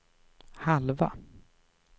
halva